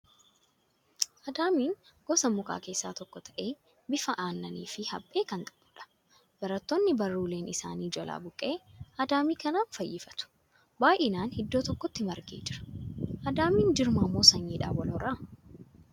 Adaamiin gosa mukaa keessaa tokko ta'ee, bifaa aannanii fi haphee kan qabudha. Barattoonni baruuleen isaanii jalaa buqqa'e, adaamii kanaan fayyifatu. Baay'inaan iddoo tokkotti margee jira. Adaamiin jirmaan moo sanyiidhaan wal hora?